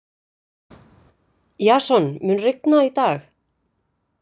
Jason, mun rigna í dag?